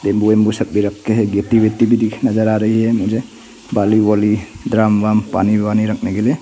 Bamboo सब भी रखे हैं गिट्टी विट्टी भी दिख नजर आ रही है मुझे। बालू वालु ड्राम ब्राम पानी वानी रखने के लिए।